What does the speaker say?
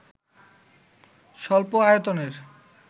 স্বল্প আয়তনের